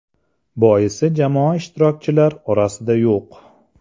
Boisi jamoa ishtirokchilar orasida yo‘q.